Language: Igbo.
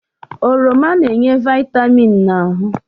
Oroma na-enye vịtamịn n'ahụ